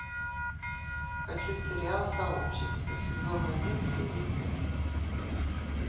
хочу сериал сообщество сезон один серия пять